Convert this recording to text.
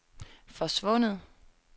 forsvundet